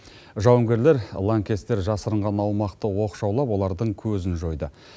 жауынгерлер лаңкестер жасырынған аумақты оқшаулап олардың көзін жойды